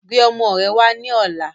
Gbé ọmọ rẹ wà ní ọ̀la!